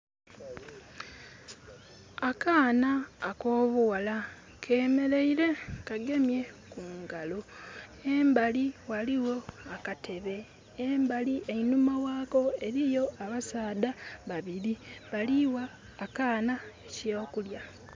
Akaana akobughala kemereire kagemye kungalo. Embali ghaligjo akatebe, embali einhuma ghako eriyo abasadha babiri bali agha akaana ekyokulya.